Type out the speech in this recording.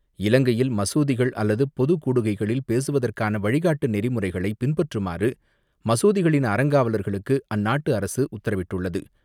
இலங்கையில் மசூதிகள் அல்லது பொது கூடுகைகளில் பேசுவதற்கான வழிகாட்டு நெறிமுறைகளை பின்பற்றுமாறு மசூதிகளின் அறங்காவலர்களுக்கு அந்நாட்டு அரசு உத்தரவிட்டுள்ளது.